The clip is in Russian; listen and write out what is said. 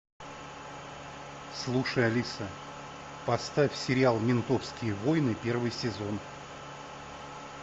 слушай алиса поставь сериал ментовские войны первый сезон